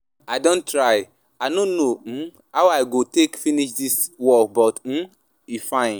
I don try, i no know um how I go take finish dis work but um e fine.